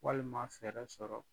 Walima fɛrɛ sɔrɔ